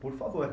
Por favor.